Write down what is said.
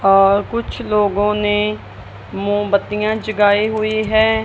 और कुछ लोगों ने मोबत्तियां जगाई हुई हैं।